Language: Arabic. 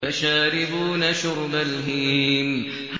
فَشَارِبُونَ شُرْبَ الْهِيمِ